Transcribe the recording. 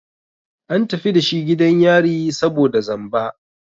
An tafi dashi gidan yari saboda zamba.